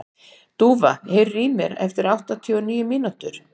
Dúfa, heyrðu í mér eftir áttatíu og níu mínútur.